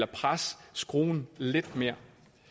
presse citronen lidt mere